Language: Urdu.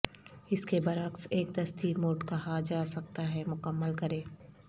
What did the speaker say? اس کے برعکس ایک دستی موڈ کہا جا سکتا ہے مکمل کریں